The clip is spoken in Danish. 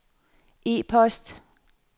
e-post